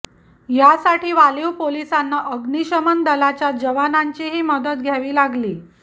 यासाठी वालिव पोलिसांना अग्नीशमन दलाच्या जवानांचीही मदत घ्यावी लागली